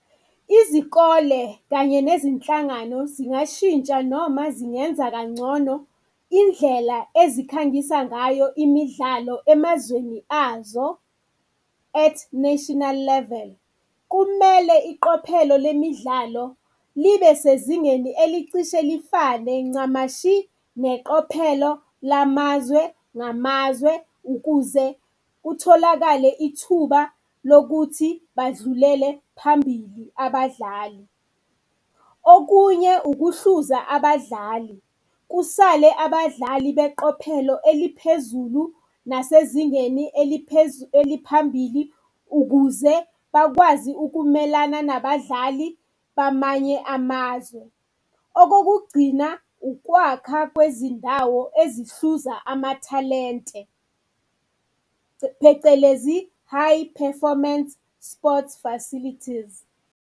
Izikole kanye nezinhlangano zingashintsha noma zingenza kangcono indlela ezikhangisa ngayo imidlalo emazweni azo, at national level. Kumele iqophelo lemidlalo libe sezingeni elicishe lifanele ncamashi neqophelo lamazwe ngamazwe ukuze kutholakale ithuba lokuthi badlulele phambili abadlali. Okunye ukuhluza abadlali kusale abadlali beqophelo eliphezulu nasezingeni eliphambili ukuze bakwazi ukumelana nabadlali bamanye amazwe. Okokugcina, ukwakha kwezindawo ezihluza amathalente, phecelezi high performance sports facilities.